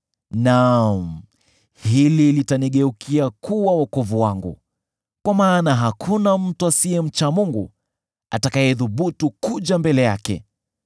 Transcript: Naam, hili litanigeukia kuwa wokovu wangu, kwa maana hakuna mtu asiyemcha Mungu atakayethubutu kuja mbele yake!